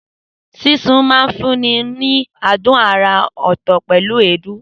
Sísun máa ń fúnni ní adùn àrà ọ̀tọ̀ pẹ̀lú èédú.